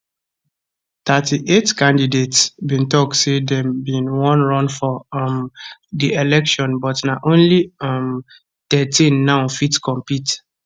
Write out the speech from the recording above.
38 candidates bin tok say dem bin wan run for um di election but na only um thirteen now fit compete